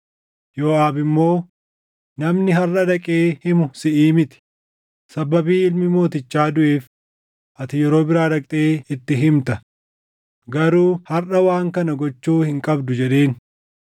Yooʼaab immoo, “Namni harʼa dhaqee himu siʼii miti; sababii ilmi mootichaa duʼeef ati yeroo biraa dhaqxee itti himta; garuu harʼa waan kana gochuu hin qabdu” jedheen.